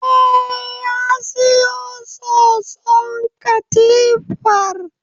Eh, ya siyo soson katifar